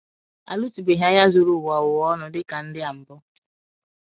A lụtụbeghị agha zuru ụwa ụwa ọnụ dị ka ndị a mbụ.